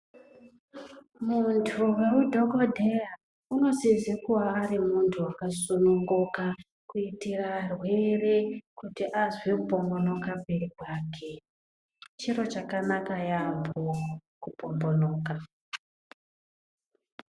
Muntu weudhogodheya unosise kuva ari muntu akasununguka kuitire varwere kuti vanzwe kupombonoka mberi kwake. Chiro chakanaka yaamho kupombonoka.